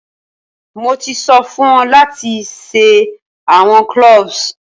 Mo ti so fun o lati se awọn cloves!